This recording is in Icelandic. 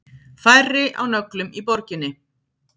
Færri á nöglum í borginni